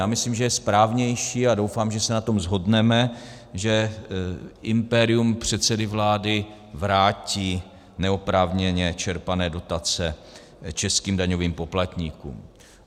Já myslím, že je správnější, a doufám, že se na tom shodneme, že impérium předsedy vlády vrátí neoprávněně čerpané dotace českým daňovým poplatníkům.